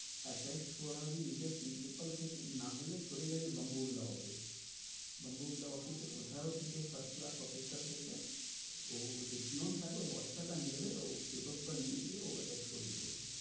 Attested করাবি নিজের principal থেকে। না হলে চলে যাবি বঙ্গভিলা office বঙ্গভিলা office কোথাও থেক first class officer থেকে ওর যে peon থাকে দশ টাকা নেবে ও paper বেপার নিয়ে গিয়ে ও attested করিয়ে দেবে।